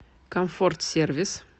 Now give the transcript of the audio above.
комфорт сервис